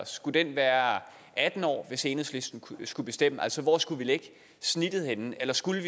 skulle den være atten år hvis enhedslisten skulle bestemme altså hvor skulle vi lægge snittet henne eller skulle